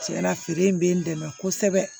Tiɲɛna feere in bɛ n dɛmɛ kosɛbɛ